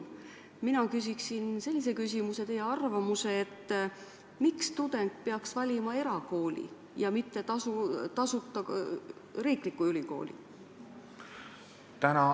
Mina küsin sellise küsimuse: miks tudeng peaks valima eraülikooli ja mitte tasuta riikliku ülikooli?